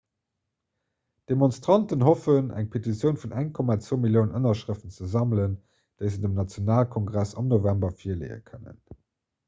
d'demonstranten hoffen eng petitioun vun 1,2 milliounen ënnerschrëften ze sammelen déi se dem nationalkongress am november virleeë kënnen